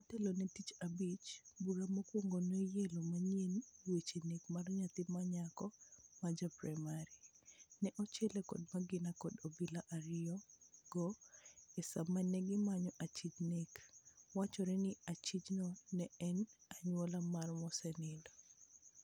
Motelo ne tichabich, bura mokawuono noyelo manyien wach nek mar nyathi manyako ma ja primar. Ne ochiele kod magina kod obila ario go e sama negi manyo achij nek. Wachore ni achij no ne en anyuola mar mosenindo.